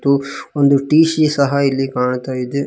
ಉಫ್ ಒಂದು ಟಿ_ಸಿ ಸಹ ಇಲ್ಲಿ ಕಾಣ್ತಾ--